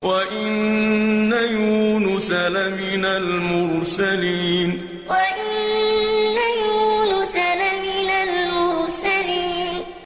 وَإِنَّ يُونُسَ لَمِنَ الْمُرْسَلِينَ وَإِنَّ يُونُسَ لَمِنَ الْمُرْسَلِينَ